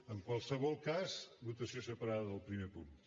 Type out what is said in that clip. en qualsevol cas votació separada del primer punt